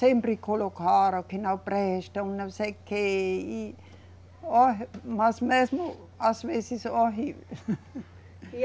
sempre colocaram que não prestam, não sei o quê e, ó, mas mesmo às vezes horrível.